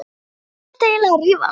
Við hvern ertu eiginlega að rífast?